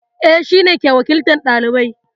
Eh, shine ke wakiltar ɗalibai